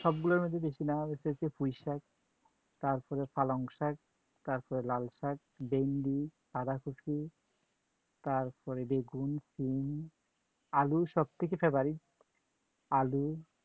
সবগুলোর মধ্যে বেশি নেওয়া হইছে যে পুঁইশাক, তারপরে পালংশাক তারপরে লালশাক, বেন্ডি, বাঁধাকপি তারপরে বেগুন, শিম, আলু সব থেকে favourite আলু